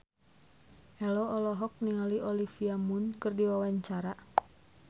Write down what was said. Ello olohok ningali Olivia Munn keur diwawancara